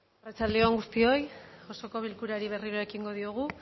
arratsalde on guztioi osoko bilkurari berriro ekingo diogu